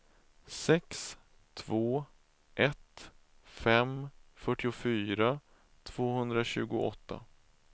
sex två ett fem fyrtiofyra tvåhundratjugoåtta